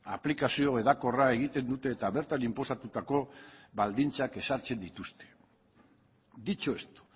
aplikazio hedakorra egiten dute eta bertan inposatutako baldintzak ezartzen dituzte dicho esto